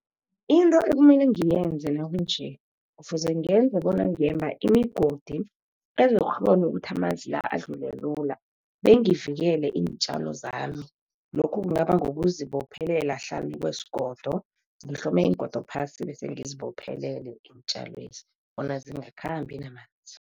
Into ekumele ngiyenzele nakunje, kufuze ngenze bona ngemba imigodi ezokukghona ukuthi amanzi la, adlule lula bengivikele iintjalo zami. Lokhu kungaba ngozibophelela hlanu kwesigodo, ngihlome iingodo phasi, bese ngizibophelela iintjalwezi, bona zingakhambi namanzi.